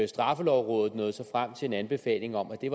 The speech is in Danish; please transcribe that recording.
straffelovrådet nåede så frem til en anbefaling om at det